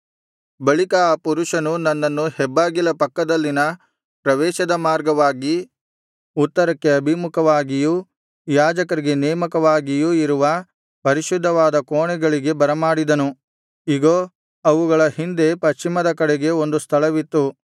ಬಳಿಕ ಆ ಪುರುಷನು ನನ್ನನ್ನು ಹೆಬ್ಬಾಗಿಲ ಪಕ್ಕದಲ್ಲಿನ ಪ್ರವೇಶದ ಮಾರ್ಗವಾಗಿ ಉತ್ತರಕ್ಕೆ ಅಭಿಮುಖವಾಗಿಯೂ ಯಾಜಕರಿಗೆ ನೇಮಕವಾಗಿಯೂ ಇರುವ ಪರಿಶುದ್ಧವಾದ ಕೋಣೆಗಳಿಗೆ ಬರಮಾಡಿದನು ಇಗೋ ಅವುಗಳ ಹಿಂದೆ ಪಶ್ಚಿಮದ ಕಡೆಗೆ ಒಂದು ಸ್ಥಳವಿತ್ತು